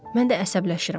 Mən də əsəbləşirəm.